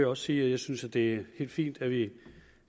også sige at jeg synes det er helt fint at vi